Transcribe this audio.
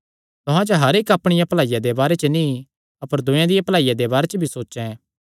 तुहां च हर इक्क अपणिया भलाईया दे बारे च नीं अपर दूयेयां दिया भलाईया दे बारे च भी सोचैं